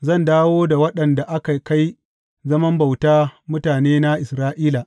Zan dawo da waɗanda aka kai zaman bauta mutanena Isra’ila.